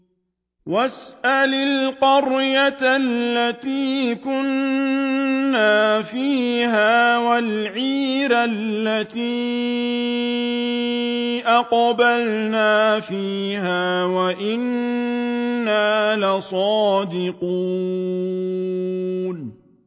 وَاسْأَلِ الْقَرْيَةَ الَّتِي كُنَّا فِيهَا وَالْعِيرَ الَّتِي أَقْبَلْنَا فِيهَا ۖ وَإِنَّا لَصَادِقُونَ